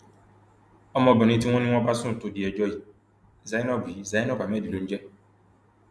ọmọbìnrin tí wọn ní wọn bá sùn tó di ẹjọ yìí zainab yìí zainab ahmed ló ń jẹ